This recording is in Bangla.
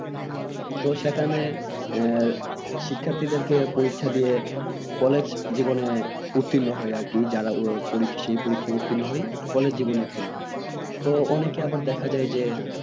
তো সেখানে এর শিক্ষার্থী দেরকে পরীক্ষা দিয়ে কলেজ জীবনে উত্তীর্ণ হয় আরকি যারা সেই পরিক্ষায় উত্তীর্ণ হয় কলেজ জীবনে উত্তীর্ণ হয় তো অনেকে আবার দেখা যায় যে